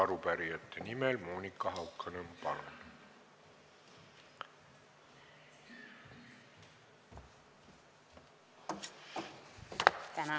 Arupärijate nimel Monika Haukanõmm, palun!